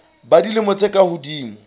ba dilemo tse ka hodimo